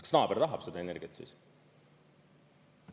Kas naaber tahab seda energiat siis?